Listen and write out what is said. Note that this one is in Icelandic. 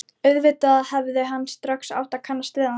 Auðvitað hefði hann strax átt að kannast við hana.